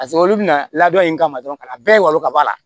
Paseke olu bɛna ladon in kama dɔrɔn ka bɛɛ walon ka bɔ a la